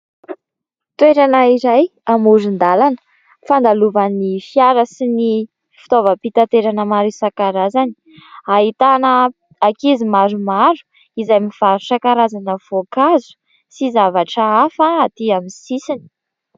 Toerana izay amoron-dalana fandalovan'ny fiara sy ny fitaovam-pitaterana maro isan-karazany. Ahitana ankizy maromaro izay mivarotra karazana voankazo sy zavatra hafa atỳ amin'ny sisiny.